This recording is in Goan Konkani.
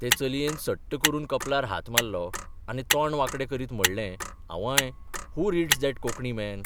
ते चलयेन सट्ट करून कपलार हात मारलो आनी तोंड वांकडें करीत म्हणलें आंवय, who reads that Konkani man !